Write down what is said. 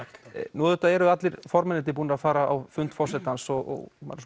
nú eru allir formenn búnir að fara á fund forsetans og maður